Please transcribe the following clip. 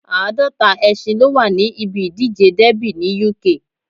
Àádọ́ta ẹṣin ló wà ní ibi ìdíje dẹ́bì ní Uk